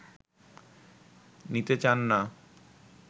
নিতে চান না